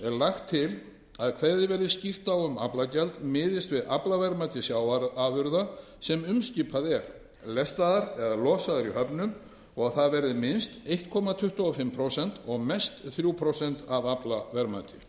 lagt til að kveðið verði skýrt á um að aflagjald miðist við aflaverðmæti sjávarafurða sem umskipað er lestaðar eða losaðar í höfnum og að það verði minnst einn komma tuttugu og fimm prósent og mest þrjú prósent af aflaverðmæti